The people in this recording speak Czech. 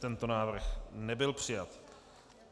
Tento návrh nebyl přijat.